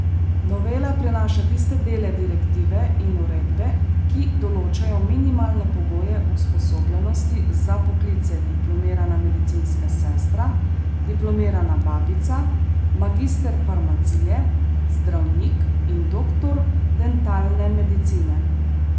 Novela prenaša tiste dele direktive in uredbe, ki določajo minimalne pogoje usposobljenosti za poklice diplomirana medicinska sestra, diplomirana babica, magister farmacije, zdravnik in doktor dentalne medicine.